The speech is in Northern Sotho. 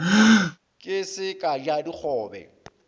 ke se ka ja dikgobe